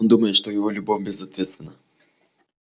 он думает что его любовь безответстна